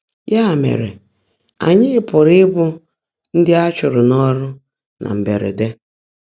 Yá mèrè, ányị́ pụ́rụ́ íbụ́ ndị́ á chụ́ụ́rụ́ n’ọ́rụ́ nà mbèèrédé.